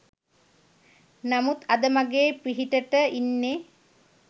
නමුත් අද මගේ පිහිටට ඉන්නේ